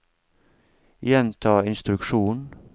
gjenta instruksjon